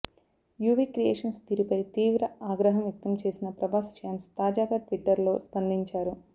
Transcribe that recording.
UV creations తీరుపై తీవ్ర ఆగ్రహం వ్యక్తం చేసిన ప్రభాస్ ఫ్యాన్స్ తాజాగా ట్విట్టర్ లో స్పందించారు